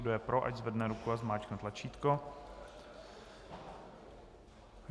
Kdo je pro, ať zvedne ruku a zmáčkne tlačítko.